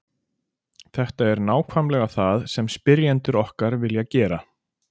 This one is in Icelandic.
Þetta er nákvæmlega það sem spyrjendur okkar vilja gera.